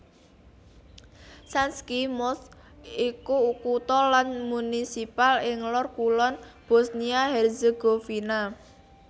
Sanski Most iku kutha lan munisipal ing lor kulon Bosnia Herzegovina